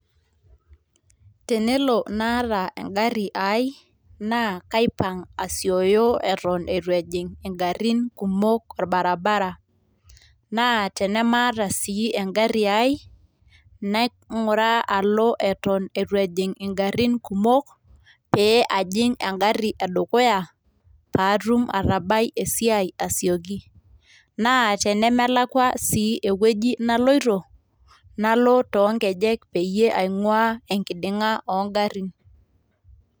Tenelo naata engari ai naa kaipang asioyo eton eitu ejing ingarin kumok orbaribara , naa tenemaata sii engari ai nainguraa alo eton eitu ejing ingarin kumok pee ajing engari edukuya patum atabai esiai asioki . naa tenemelakwa sii ewueji naloito ,nalo too nkejek peyie aingwaa enkidinga oo ngarin.